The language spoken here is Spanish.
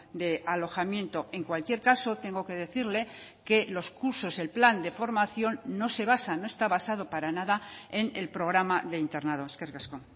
de alojamiento en cualquier caso tengo que decirle que los cursos el plan de formación no se basa no está basado para nada en el programa de internado eskerrik asko